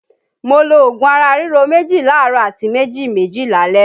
Mo lo òògùn ara ríro méjì láàárọ̀ àti méjì méjì lálẹ́